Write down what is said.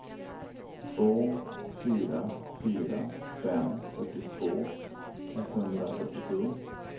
två fyra fyra fem fyrtiotvå etthundrafyrtiosju